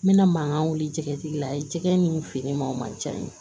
N bɛna mankan wuli jɛgɛtigi la ye jɛgɛ ni fini ma ca n ye